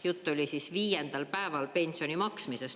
" Jutt oli siis viiendal päeval pensioni maksmisest.